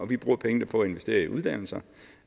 vi bruger pengene på at investere i uddannelse